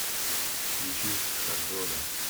включи шахзода